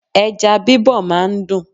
Ẹja bí bọ máa ń dùn.